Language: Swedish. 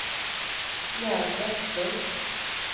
Gerd Vestlund